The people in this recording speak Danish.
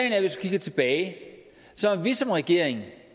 at vi som regering